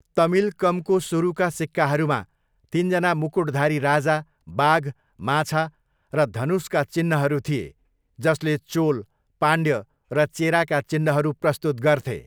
तमिलकमको सुरुका सिक्काहरूमा तिनजना मुकुटधारी राजा, बाघ, माछा र धनुषका चिन्हहरू थिए, जसले चोल, पाण्ड्य र चेराका चिन्हहरू प्रस्तुत गर्थे।